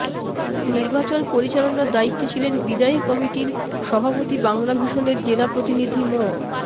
নির্বাচন পরিচালনার দায়িত্বে ছিলেন বিদায়ী কমিটির সভাপতি বাংলাভিশনের জেলা প্রতিনিধি ম